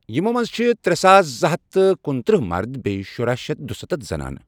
یِمو مَنٛز چھ ترٚےٚ ساس زٕ ہتھ تہٕ کنترٕٛہہ مرد بیٚیہ شراہ شتھ دُستتھ زنانہٕ